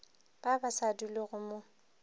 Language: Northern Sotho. ba ba sa dulego mo